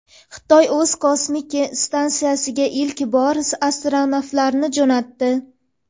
Xitoy o‘z kosmik stansiyasiga ilk bor astronavtlarni jo‘natdi.